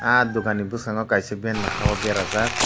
ah dokan ni boskango kaisa banner ha o berajak.